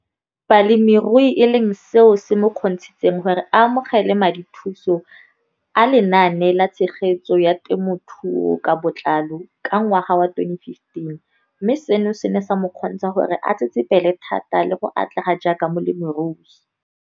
Balemirui e leng seo se mo kgontshitseng gore a amogele madithuso a Lenaane la Tshegetso ya Te mothuo ka Botlalo, CASP] ka ngwaga wa 2015, mme seno se ne sa mo kgontsha gore a tsetsepele thata le go atlega jaaka molemirui.